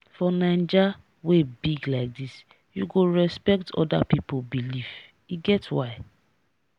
for naija wey big like dis you go respect oda pipo belief e get why.